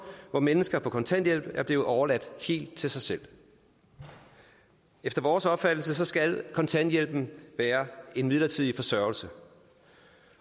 hvor mennesker på kontanthjælp er blevet overladt helt til sig selv efter vores opfattelse skal kontanthjælpen være en midlertidig forsørgelse